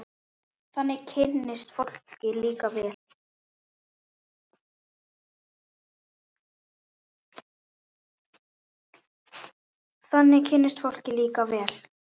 Þannig kynnist fólk líka vel.